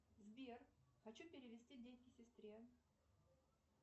сбер хочу перевести деньги сестре